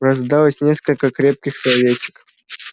раздалось несколько крепких словечек